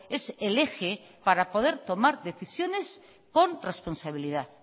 es el eje para poder tomar decisiones con responsabilidad